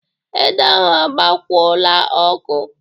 Ede ahụ agbakwola ọkụ!